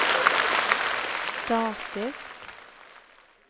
statisk